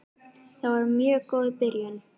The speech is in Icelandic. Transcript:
Það var mjög góð byrjun.